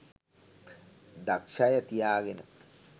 දක්ෂ අය තියාගෙන